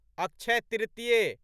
अक्षय तृतीय